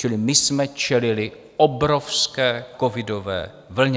Čili my jsme čelili obrovské covidové vlně.